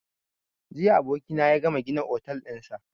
Jiya abokina ya gama gina otel ɗinsa